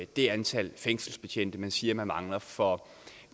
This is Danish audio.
det antal fængselsbetjente man siger man mangler for